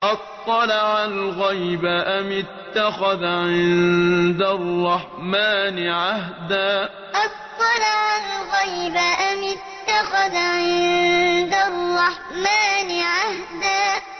أَطَّلَعَ الْغَيْبَ أَمِ اتَّخَذَ عِندَ الرَّحْمَٰنِ عَهْدًا أَطَّلَعَ الْغَيْبَ أَمِ اتَّخَذَ عِندَ الرَّحْمَٰنِ عَهْدًا